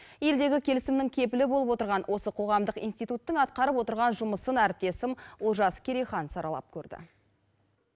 елдегі келісімнің кепілі болып отырған осы қоғамдық институттың атқарып отырған жұмысын әріптесім олжас керейхан саралап көрді